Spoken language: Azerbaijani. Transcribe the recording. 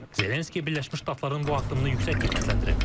Zelenski Birləşmiş Ştatların bu addımını yüksək qiymətləndirib.